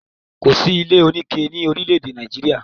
Kò sí ilé oníke ni orílè-èdè Nàìjíríà.